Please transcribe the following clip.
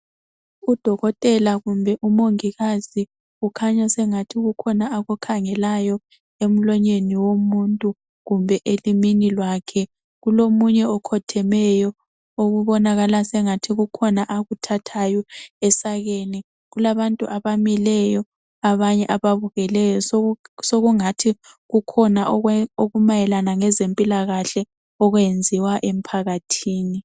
uDokotela kumbe uMongikazi ukhanya sengathi kukhona akukhangelayo emlonyeni womuntu kumbe elimini kwakhe. Kulomunye okhothemeyo okubonakala sengathi kukhona akuthathayo esakeni. Kulabantu abamileyo abanye ababukeleyo. Sokungathi kukhona okumayelana lezempilakahle okwenziwa emphakathini.